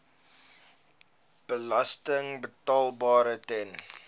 belasting betaalbaar ten